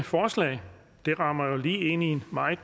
forslag det rammer jo lige ind i en meget